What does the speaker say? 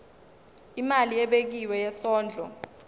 imali ebekiwe yesondlo